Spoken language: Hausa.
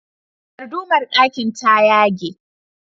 Dardumar ɗakin ta yage.